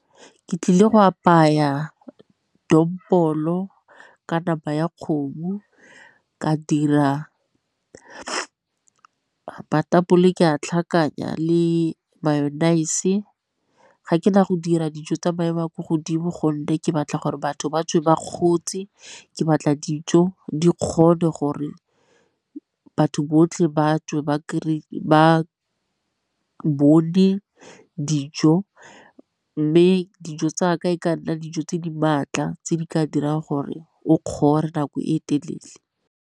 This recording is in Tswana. Ke tlile go apaya dombolo ka nama ya kgomo, ka dira matapole ke a tlhakanya le Mayonnaise, ga ke na go dira dijo tsa maemo a ko godimo gonne ke batla gore batho ba tswe ba kgotse ke batla dijo di kgone gore batho botlhe batswe ba bone di dijo. Mme dijo tsa ka e ka nna dijo tse di maatla tse di ka dirang gore o kgore nako e telele.